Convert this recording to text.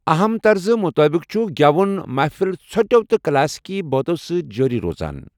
اَہم ترزٕ مُطٲبِق چھِ گٮ۪ون محفل ژھۄٹٮ۪و تہٕ كلاسیكی بٲتو سۭتۍ جٲری روزان ۔